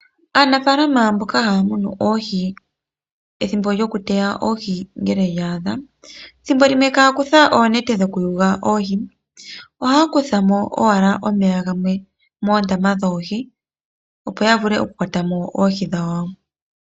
Aanafaalama mboka haya munu oohi ethimbo lyokuteya oohi ngele lya adha ethimbo limwe ihaya kutha oonete dhokuyula mo oohi, ihe ohaya kutha mo owala omeya gamwe moondama dhoohi opo ya vule okukwata mo oohi dhawo.